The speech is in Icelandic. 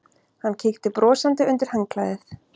Hann kíkti brosandi undir handklæðið.